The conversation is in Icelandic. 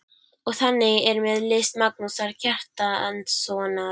Og þannig er með list Magnúsar Kjartanssonar.